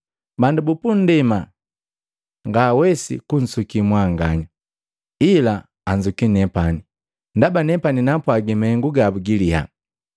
Bandu bupundema ngaawesi kunsuki mwanganya, ila anzuki nepani, ndaba nepani naapwagi mahengu gabu giliya.